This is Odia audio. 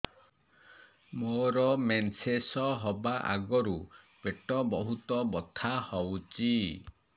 ମୋର ମେନ୍ସେସ ହବା ଆଗରୁ ପେଟ ବହୁତ ବଥା ହଉଚି